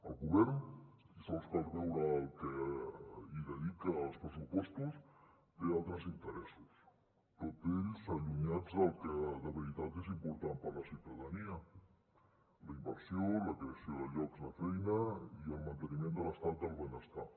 el govern i sols cal veure el que hi dedica als pressupostos té altres interessos tots ells allunyats del que de veritat és important per a la ciutadania la inversió la creació de llocs de feina i el manteniment de l’estat del benestar